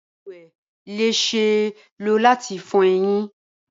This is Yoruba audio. Balùwẹ le ṣee lo lati fo eyin.